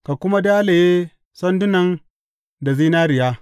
Ka kuma dalaye sandunan da zinariya.